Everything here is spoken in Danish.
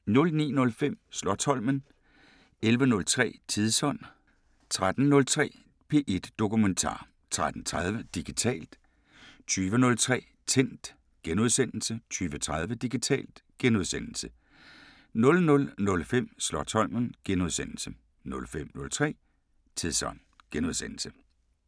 09:05: Slotsholmen 11:03: Tidsånd 13:03: P1 Dokumentar 13:30: Digitalt 20:03: Tændt * 20:30: Digitalt * 00:05: Slotsholmen * 05:03: Tidsånd *